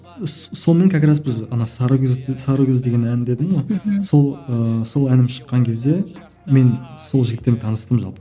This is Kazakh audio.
сонымен как раз біз ана сары күз сары күз деген ән дедім ғой мхм сол сол әнім шыққан кезде мен сол жігіттермен таныстым жалпы